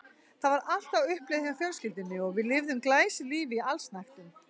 Það var allt á uppleið hjá fjölskyldunni og við lifðum glæsilífi í allsnægtum.